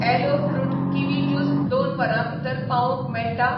Alloy fruit kiwi juice दोन वरां भितर पावोवंक मेळटा ?